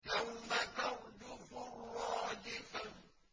يَوْمَ تَرْجُفُ الرَّاجِفَةُ